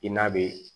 I n'a bɛ